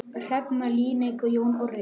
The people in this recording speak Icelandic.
Hrefna Líneik og Jón Orri.